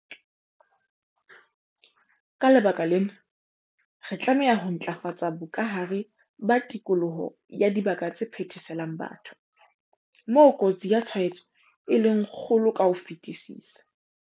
Ka lebaka lena, re tlameha ho ntlafatsa bokahare ba tikoloho ya dibaka tse phetheselang batho, moo kotsi ya tshwaetso e leng kgolo ka ho fetisisa.